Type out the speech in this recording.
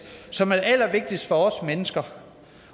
som er det allervigtigste for os mennesker